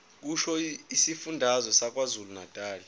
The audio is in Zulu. kusho isifundazwe sakwazulunatali